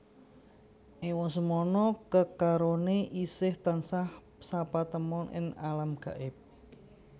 Ewa semana kekaroné isih tansah sapatemon ing alam gaib